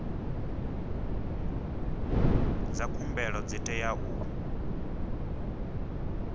dza khumbelo dzi tea u